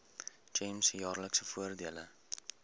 gems jaarlikse voordele